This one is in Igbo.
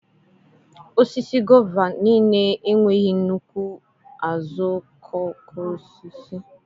Osisi gova niile enweghị nnukwu azuokokoosisi.